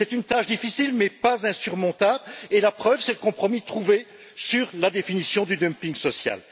C'est une tâche difficile, mais pas insurmontable et la preuve c'est le compromis trouvé sur la définition du dumping social.